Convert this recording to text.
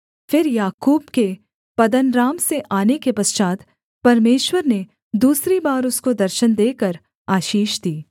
फिर याकूब के पद्दनराम से आने के पश्चात् परमेश्वर ने दूसरी बार उसको दर्शन देकर आशीष दी